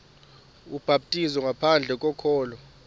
ubhaptizo ngaphandle kokholo